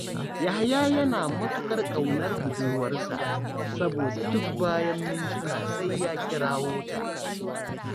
Yahaya yana matuƙar ƙaunar budurwarsa, saboda duk bayan ‘yan mintuna sai ya kirawo ta